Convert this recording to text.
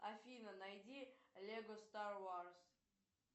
афина найди лего стар варс